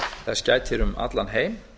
þess gætir um allan heim